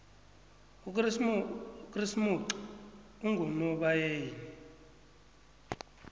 ukresimoxi ungonobayeni